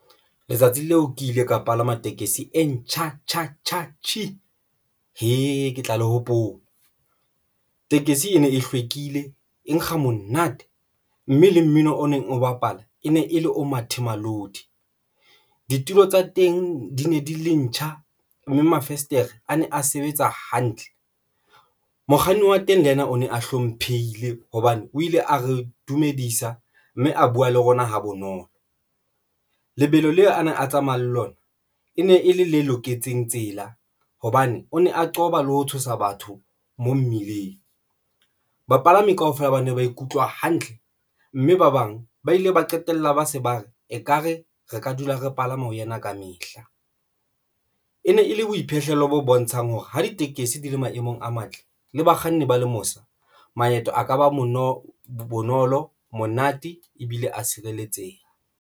Letsatsi leo ke ile ka palama tekesi e ntjha, tjha, tjhi hee! ke tla le hopola. Tekesi e ne e hlwekile e nkga monate mme le mmino o neng o bapala e ne e le o mathemalodi. Ditulo tsa teng di ne di le ntjha mme mavestere ane a sebetsa hantle mokganni wa teng le yena o ne a hlomphehile hobane o ile a re dumedisa mme a buwa le rona ha bonolo. Lebelo leo ana a tsamayang le lona e ne e le le loketseng tsela, hobane o ne a qoba le ho tshosa batho mo mmileng. Bapalami kaofela ba ne ba ikutlwa hantle mme ba bang ba ile ba qetella ba se ba etsa ekare re ka dula re palame ho yena Kamehla e ne e le boiphihlelo bo bontshang hore ha ditekesi di le maemong a matle, le bakganni ba lemosa maeto a ka ba mono bonolo monate ebile a tshireletseha.